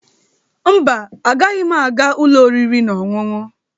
Mba, agaghị m aga ụlọ oriri na ọṅụṅụ,